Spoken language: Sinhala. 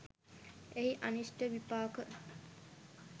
එහි අනිෂ්ට විපාක